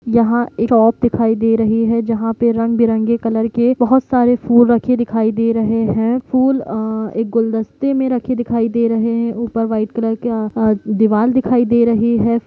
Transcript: यहाँ एक शॉप दिखाई दे रही है जहां पे रंगबिरंगे कलर के बहुत सारे फुल रखे दिखाई दे है फुल एक आ-गुलदस्ते में रखे दिखाई दे रहे है ऊपर वाइट कलर दिवाल दिखाई दे रहे है।